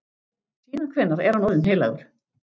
Síðan hvenær er hann orðinn heilagur?